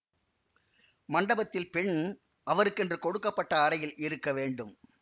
மண்டபத்தில் பெண் அவருக்கென்று கொடுக்க பட்ட அறையில் இருக்கவேண்டும்